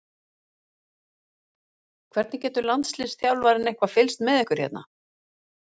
Hvernig getur landsliðsþjálfarinn eitthvað fylgst með ykkur hérna?